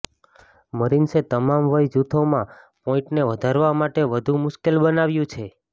મરીન્સે તમામ વય જૂથોમાં પોઈન્ટને વધારવા માટે વધુ મુશ્કેલ બનાવ્યું છે